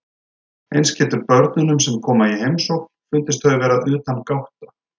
Eins getur börnunum sem koma í heimsókn fundist þau vera utangátta.